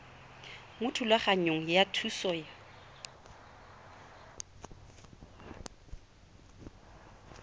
mo thulaganyong ya thuso y